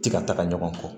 Ti ka taga ɲɔgɔn kɔ